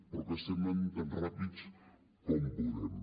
però que estem anant tan ràpids com podem